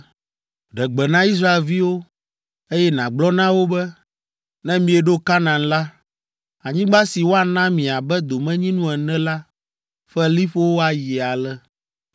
“Ɖe gbe na Israelviwo, eye nàgblɔ na wo be, ‘Ne mieɖo Kanaan la, anyigba si woana mi abe domenyinu ene la ƒe liƒowo ayi ale: